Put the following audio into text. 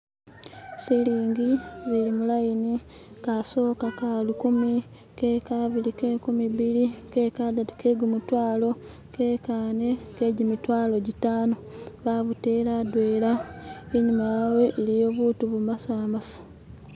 Silingi zili mu layini, kasoke ka lukumi, kekabili ke kumibili, kekadatu ke gumutwalo, kekane ke gimitwalo gitano, babutele adwena, enyuma yawe eliyo buntu bumasamasa